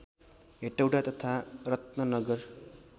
हेटौडा तथा रत्ननगर